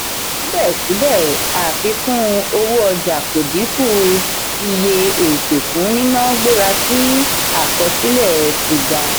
sibẹsibẹ àfikún owó ọjà kò dínkù iye ètò fún nínà gbéra sí akọsilẹ tí ga.